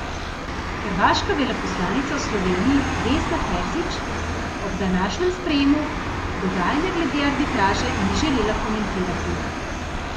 Hrvaška veleposlanica v Sloveniji Vesna Terzić ob današnjem sprejemu dogajanja glede arbitraže ni želela komentirati.